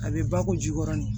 A bɛ ba ko ji kɔrɔ ni